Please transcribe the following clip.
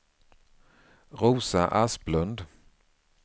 Rosa Asplund